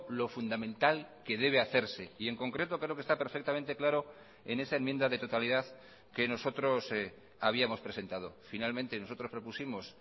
lo fundamental que debe hacerse y en concreto creo que está perfectamente claro en esa enmienda de totalidad que nosotros habíamos presentado finalmente nosotros propusimos